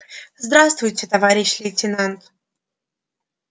здравствуйте товарищ лейтенант